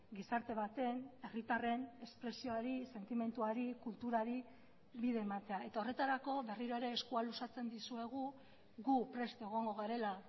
gizarte baten herritarren espresioari sentimenduari kulturari bide ematea eta horretarako berriro ere eskua luzatzen dizuegu gu prest egongo garela